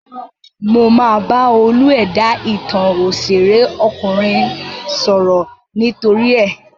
Mo máa bá olú-ẹ̀dá ìtàn òṣèré ọkùnrin sọ̀rọ̀ nítorí ẹ.